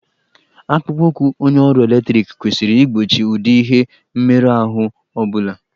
Akpụkpọụkwụ onye ọrụ eletriki kwesịrị igbochi ụdị ihe mmerụahụ ọ bụla.